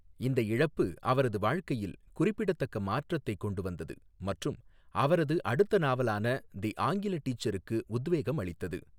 இந்த இழப்பு அவரது வாழ்க்கையில் குறிப்பிடத்தக்க மாற்றத்தைக் கொண்டு வந்தது மற்றும் அவரது அடுத்த நாவலான தி ஆங்கில டீச்சருக்கு உத்வேகம் அளித்தது.